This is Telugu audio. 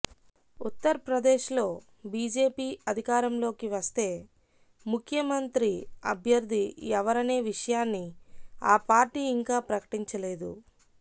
ఉత్తర్ ప్రదేశ్ లో బిజెపి అధికారంలోకివస్తే ముఖ్యమంత్రి అభ్యర్థి ఎవరనే విషయాన్ని ఆ పార్టీ ఇంకా ప్రకటించలేదు